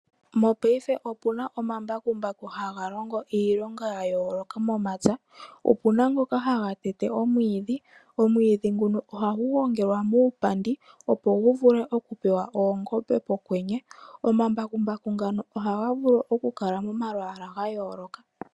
Mopaife opuna omambakumbaku haga longo iilonga yayooloka momapya. Opuna ngoka haga tete omwiidhi, omwiidhi nguno ohagu gongelwa muupandi opo guvule okupewa oongombe pokwenye. Omambakumbaku ngano ohaga vulu okukala momalwaala gayooloka.